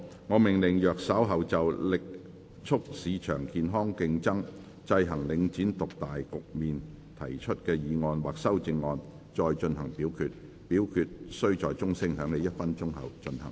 我命令若稍後就"力促市場健康競爭，制衡領展獨大局面"所提出的議案或修正案再進行點名表決，表決須在鐘聲響起1分鐘後進行。